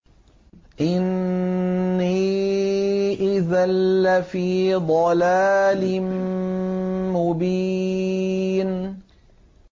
إِنِّي إِذًا لَّفِي ضَلَالٍ مُّبِينٍ